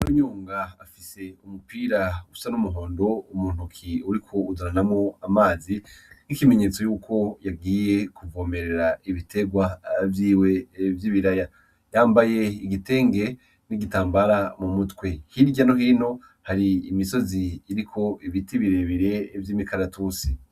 Inarunyonga afise umupira usa n'umuhondo umuntu uki uriko uzaranamwo amazi nk'ikimenyetso yuko yagiye kuvomerera ibiterwa vyiwe vy'ibiraya yambaye igitenge n'igitambara mu mutwe hirya nohino hari imisozi iriko ibiti birebire vy'imikaratusi.